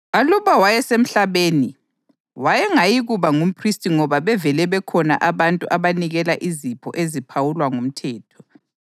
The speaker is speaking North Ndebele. Aluba wayesemhlabeni wayengayikuba ngumphristi ngoba bevele bekhona abantu abanikela izipho eziphawulwa ngumthetho.